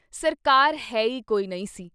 ਸਰਕਾਰ ਹੈ ਈ ਕੋਈ ਨਹੀਂ ਸੀ।